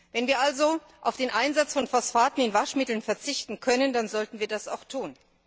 Wenn wir also auf den Einsatz von Phosphaten in Waschmitteln verzichten können, dann sollten wir das auch tun.